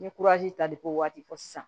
N ye ta de ko waati fɔ sisan